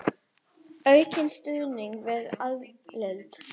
Aukinn stuðningur við aðild